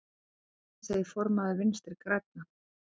Þetta segir formaður Vinstri grænna.